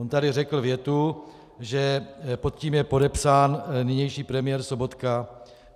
On tady řekl větu, že pod tím je podepsán nynější premiér Sobotka.